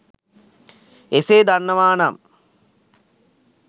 එසේ දන්නවා නම්